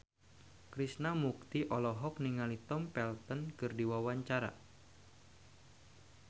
Krishna Mukti olohok ningali Tom Felton keur diwawancara